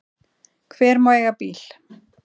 Hver má eiga bíl?